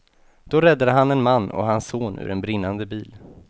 Då räddade han en man och hans son ur en brinnande bil.